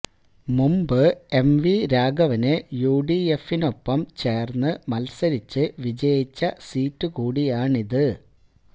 മുമ്പ് M V രാഘവന് U D എഫിനൊപ്പം ചേര്ന്ന് മത്സരിച്ച് വിജയിച്ച സീറ്റ് കൂടിയാണിത്